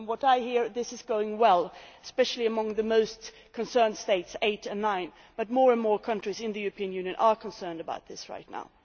From what I hear this is going well, especially amongst the most concerned eight or nine states, but more and more countries in the European Union are concerned about this right now.